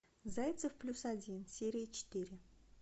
зайцев плюс один серия четыре